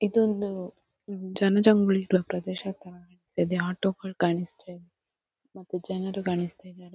ಇದೊಂದು ಜನಜಂಗುಳಿ ಇರುವ ಪ್ರದೇಶ ಥರ ಅನಿಸ್ತಿದೆ ಆಟೋ ಗಳು ಕಾಣಿಸ್ತಿದೆ ಮತ್ತೆ ಜನರು ಕಾಣಿಸ್ತಿದ್ದಾರೆ.